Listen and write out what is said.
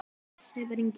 Sævar Ingi.